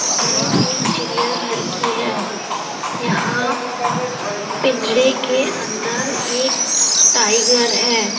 तस्वीर एक चिड़िया घर की है। यहाँ पिंजेरे के अंदर एक टाइगर है।